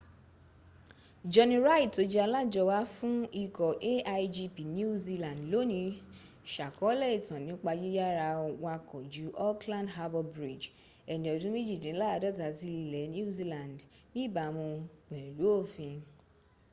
jonny reid tó jẹ́ alájọwà fún ikọ̀ a1gp new zealand lónìí sàkọọ́lẹ̀ ìtàn nípa yíyára wakọ̀ ju auckland harbour bridge ẹni ọdún méjìdínláàdọ́ta ti ilẹ̀ new zealand níbàmún un pẹ̀lú òfin